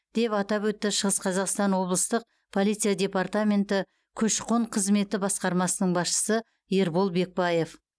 деп атап өтті шығыс қазақстан облыстық полиция департаменті көші қон қызметі басқармасының басшысы ербол бекпаев